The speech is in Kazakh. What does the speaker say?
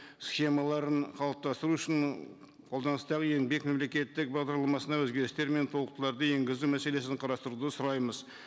схемаларын қалыптастыру үшін м қолданыстағы еңбек мемлекеттік бағдарламасына өзгерістер мен толықтыруларды енгізу мәселесін қарастыруды сұраймыз